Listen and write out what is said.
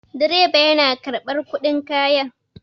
Direba yana karɓar kuɗin kaya.